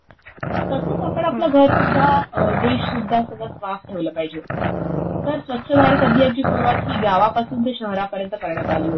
तसंच आपण आपलं घर सुद्धा, देश सुद्धा सगळं साफ ठेवलं पाहिजे. तर स्वच्छ भारत अभियानची सुरुवात ही गावापासून ते शहरापर्यन्त करण्यात आली होती.